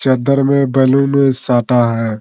चद्दर में बैलून साटा है।